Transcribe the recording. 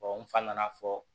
n fa nana fɔ